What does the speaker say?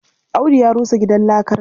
Audu ya rusa gidan lakarsa.